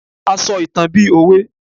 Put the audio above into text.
a sọ ìtàn bi òwe